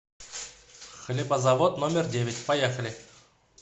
хлебозавод номер девять поехали